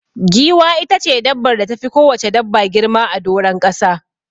Giwa itace dabbar da tafi kowacce dabba girma a doron ƙasa.